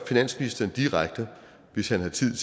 finansministeren direkte hvis han har tid